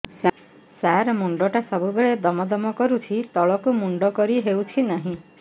ସାର ମୁଣ୍ଡ ଟା ସବୁ ବେଳେ ଦମ ଦମ କରୁଛି ତଳକୁ ମୁଣ୍ଡ କରି ହେଉଛି ନାହିଁ